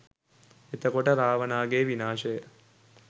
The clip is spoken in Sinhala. එතකොට, රාවණාගේ විනාශය